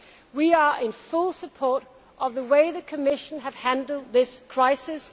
We are in full support of the way the Commission has handled this crisis.